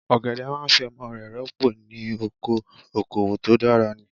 Ọ̀gẹ̀dẹ̀ máa fi ọmọ rẹ̀ rọ́pò ní ọkọ, okòwò tó dára ni.